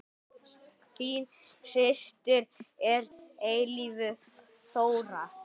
Þín systir að eilífu, Þóra.